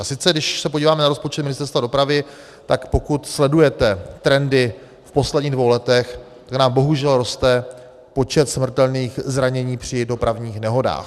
A sice když se podíváme na rozpočet Ministerstva dopravy, tak pokud sledujete trendy v posledních dvou letech, kde nám bohužel roste počet smrtelných zranění při dopravních nehodách.